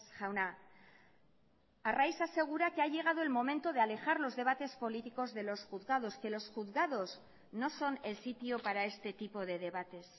jauna arraiz asegura que ha llegado el momento de alejar los debates políticos de los juzgados que los juzgados no son el sitio para este tipo de debates